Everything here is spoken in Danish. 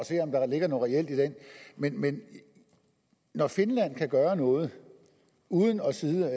se om der ligger noget reelt i den men men når finland kan gøre noget uden at sidde